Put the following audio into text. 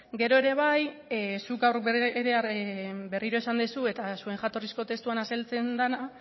gero ere bai zuk gaur ere esan duzu eta zuen jatorrizko testuan azaltzen dena